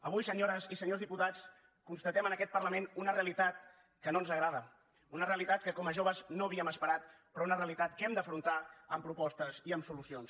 avui senyores i senyors diputats constatem en aquest parlament una realitat que no ens agrada una realitat que com a joves no havíem esperat però una realitat que hem d’afrontar amb propostes i amb solucions